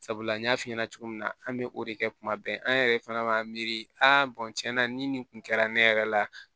Sabula n y'a f'i ɲɛna cogo min na an bɛ o de kɛ kuma bɛɛ an yɛrɛ fana b'a miiri tiɲɛna ni nin kun kɛra ne yɛrɛ la